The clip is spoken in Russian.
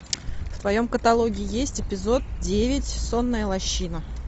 в твоем каталоге есть эпизод девять сонная лощина